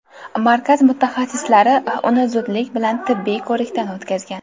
Markaz mutaxassislari uni zudlik bilan tibbiy ko‘rikdan o‘tkazgan.